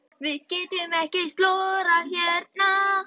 Við getum ekki slórað hérna.